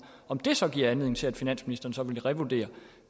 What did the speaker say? om det så giver anledning til at finansministeren vil revurdere